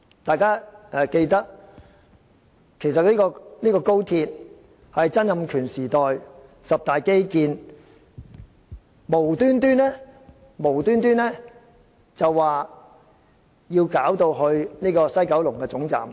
大家也記得，高鐵其實是曾蔭權時代的十大基建之一，無緣無故地要把總站設於西九龍。